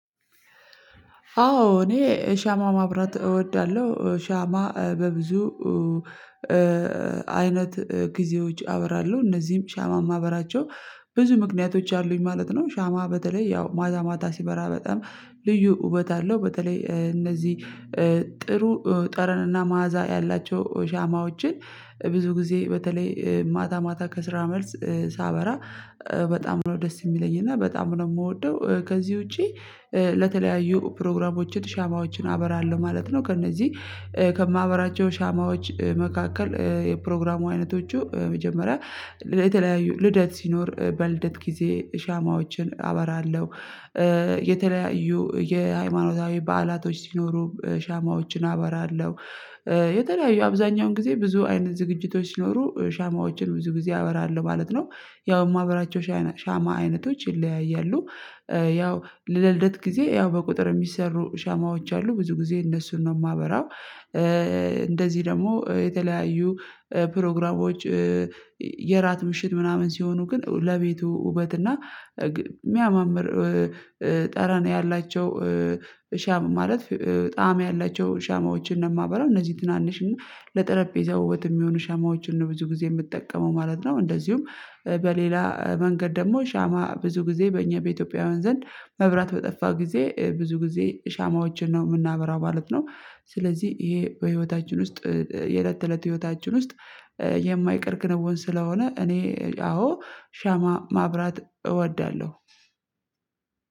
አዎ እኔ ሻማ ማብራት እወዳለሁ ሻማ በብዙ አይነት ጊዜዎች አበራለሁ እነዚህም ሻማ ማበራቸው ብዙ ምክንያቶች አሉኝ ማለት ነው። ሻማ በተለይ ያው ማታ ማታ ሲበራ በጣም ልዩ ውበት አለው። በተለይ እነዚህ ጥሩ ጠረንና መዓዛ ያላቸው ሻማዎችን ብዙ ጊዜ በተለይ ማታ ማታ ከስራ መልስ ሳበራ በጣም ነው ደስ የሚለኝ እና በጣም ነው የምወደው። ከዚህ ውጪ ለተለያዩ ፕሮግራሞች ሻማዎችን አበራለሁ ማለት ነው። ከእነዚህ ከማበራቸው ሻማዎች መካከል የፕሮግራሙ አይነቶቹ መጀመሪያ የተለያዩ ልደት ሲኖር በልደት ጊዜ ሻማዎችን አበራለሁ። የተለያዩ የሃይማኖታዊ በዓላቶች ሲኖሩ ሻማዎችን አበራለሁ። የተለያዩ አብዛኛውን ጊዜ ብዙ አይነት ዝግጅቶች ሲኖሩ ሻማዎችን ብዙ ጊዜ አበራለሁ ማለት ነው። ያው የማበራቸው ሻማ አይነቶች ይለያያሉ። ያው ለልደት ጊዜ ያው በቁጥር የሚሰሩ ሻማዎች አሉ ብዙ ጊዜ እነሱን ነው የማበራው። እንደዚህ ደግሞ የተለያዩ ፕሮግራሞች የእራት ምሽት ምናምን ሲሆኑ ግን ለቤቱ ውበት እና የሚያማምር ጠረን ያላቸው ሻማ ማለት ጣዕም ያላቸው ሻማዎችን ነው የማበላው እነዚህ ትናንሽ እና ለጠረጴዛ ውበት የሚሆኑ ሻማዎችን ነው ብዙ ጊዜ የምጠቀመው ማለት ነው። እንደዚሁም በሌላ መንገድ ደግሞ ሻማ ብዙ ጊዜ በእኛ በኢትዮጵያውያን ዘንድ መብራት በጠፋ ጊዜ ብዙ ጊዜ ሻማዎችን ነው የምናበራው ማለት ነው። ስለዚህ ይሄ በህይወታችን ውስጥ የእለት እለት ህይወታችን ውስጥ የማይቀር ክንውን ስለሆነ እኔ አዎ ሻማ ማብራት እወዳለሁ።